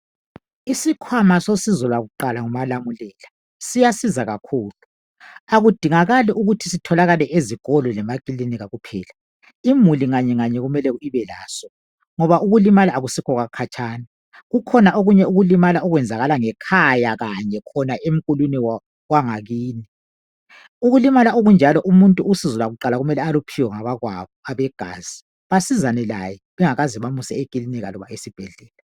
isikwama sosizo lakuqala ngumalamulela siyasiza kakhulu, akudingakali ukuthi sitholakale ezikolo lasema klinika kuphela, imuli emuli kumele ibelaso ngoba ukulimala ukusikho kwakhatshana kukhona ukulimala okwenzakala ngekhaya kanye khona endlini yangakini ukulimala okunjalo umuntu usizo lakuqala kumele aluphiwe ngabakwabo abegazi basizane laye bengakamusi esibhedlela.